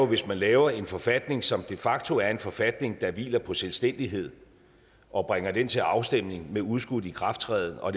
hvis man laver en forfatning som de facto er en forfatning der hviler på selvstændighed og bringer den til afstemning med udskudt ikrafttræden og